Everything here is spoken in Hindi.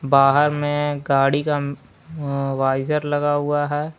बाहर में गाड़ी का वाइजर लगा हुआ है।